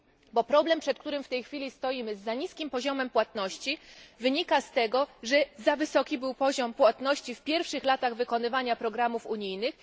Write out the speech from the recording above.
Bo problem, przed którym w tej chwili stoimy, ze zbyt niskim poziomem płatności, wynika z tego, że za wysoki był poziom płatności w pierwszych latach wykonywania programów unijnych.